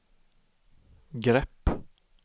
grepp